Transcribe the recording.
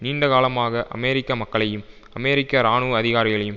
நீண்டகாலமாக அமெரிக்க மக்களையும் அமெரிக்க இராணுவ அதிகாரிகளையும்